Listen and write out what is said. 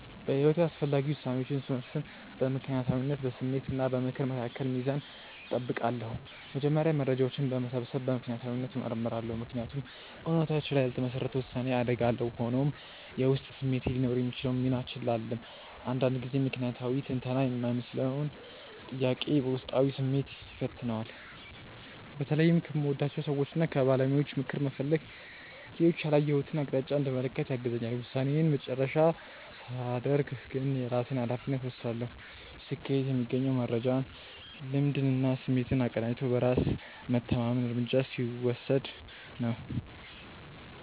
በሕይወቴ አስፈላጊ ውሳኔዎችን ስወስን በምክንያታዊነት፣ በስሜት እና በምክር መካከል ሚዛን እጠብቃለሁ። መጀመሪያ መረጃዎችን በመሰብሰብ በምክንያታዊነት እመረምራለሁ፤ ምክንያቱም እውነታዎች ላይ ያልተመሰረተ ውሳኔ አደጋ አለው። ሆኖም፣ የውስጥ ስሜቴ ሊኖረው የሚችለውን ሚና ችላ አልልም፤ አንዳንድ ጊዜ ምክንያታዊ ትንተና የማይመልሰውን ጥያቄ ውስጣዊ ስሜቴ ይፈታዋልና። በተለይም ከምወዳቸው ሰዎችና ከባለሙያዎች ምክር መፈለግ ሌሎች ያላየሁትን አቅጣጫ እንድመለከት ያግዘኛል። ውሳኔዬን የመጨረሻ ሳደርግ ግን የራሴን ሃላፊነት እወስዳለሁ። ስኬት የሚገኘው መረጃን፣ ልምድንና ስሜትን አቀናጅቶ በራስ መተማመን እርምጃ ሲወስድ ነው።